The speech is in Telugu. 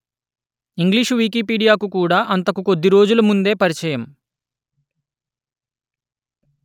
ఇంగ్లీషు వికీపీడియా కూడా అంతకు కొద్ది రోజుల ముందే పరిచయం